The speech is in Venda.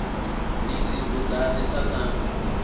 ni si kuḓane sa ṋanga